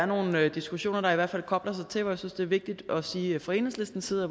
nogle diskussioner der kobler sig til det jeg synes det er vigtigt at sige at fra enhedslistens side